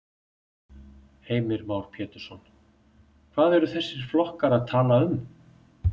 Heimir Már Pétursson: Hvað eru þessir flokkar að tala um?